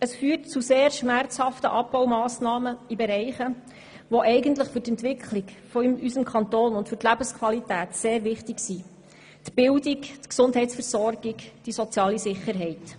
Es führt zu sehr schmerzhaften Abbaumassnahmen in Bereichen, die für die Entwicklung und die Lebensqualität in unserem Kanton sehr wichtig sind: nämlich in der Bildung, der Gesundheitsversorgung und der sozialen Sicherheit.